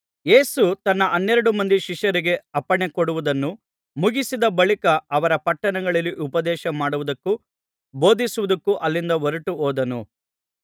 ಯೇಸು ತನ್ನ ಹನ್ನೆರಡು ಮಂದಿ ಶಿಷ್ಯರಿಗೆ ಅಪ್ಪಣೆಕೊಡುವುದನ್ನು ಮುಗಿಸಿದ ಬಳಿಕ ಅವರ ಪಟ್ಟಣಗಳಲ್ಲಿ ಉಪದೇಶಮಾಡುವುದಕ್ಕೂ ಬೋಧಿಸುವುದಕ್ಕೂ ಅಲ್ಲಿಂದ ಹೊರಟು ಹೋದನು